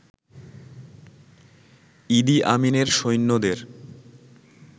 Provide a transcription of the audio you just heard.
ইদি আমিনের সৈন্যদের